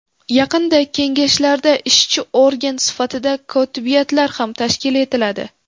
Yaqinda kengashlarda ishchi organ sifatida kotibiyatlar ham tashkil etiladi.